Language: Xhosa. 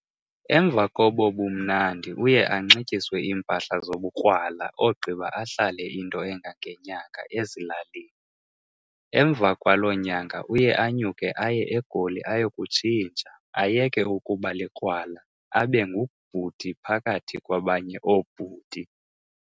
Emva kobobumnandi uye anxityiswe iimpahla zobu krwala ogqiba ahlale into engange nyanga ezilalini. emva kwalo nyanga uye anyuke aye eGoli ayokutshintsha, ayeke ukuba likrwala abe ngubhuti phakathi kwabanye oobhuti.